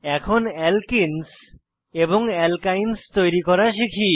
এখন অ্যালকেনেস এবং অ্যালকাইনস তৈরি করা শিখি